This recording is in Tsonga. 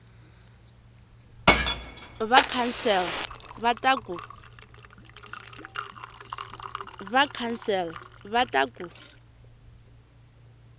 va council va ta ku